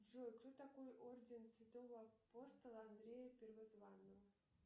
джой кто такой орден святого апостола андрея первозванного